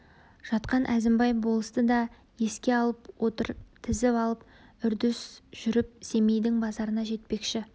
жатқан әзімбай болысты да еске алып отыр тізіп алып үрдіс жүріп семейдің базарына жетпекші